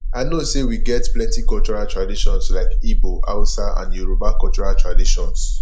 i know say we get plenty cultural traditions like igbo hausa and yoruba cultural traditions